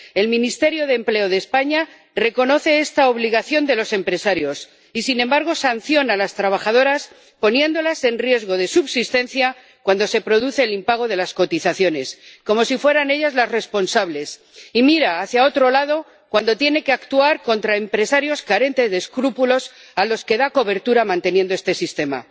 El Ministerio de Empleo de España reconoce esta obligación de los empresarios y, sin embargo, sanciona a las trabajadoras, poniendo en riesgo su subsistencia cuando se produce el impago de las cotizaciones, como si fueran ellas las responsables, y mira hacia otro lado cuando tiene que actuar contra empresarios carentes de escrúpulos a los que da cobertura manteniendo este sistema.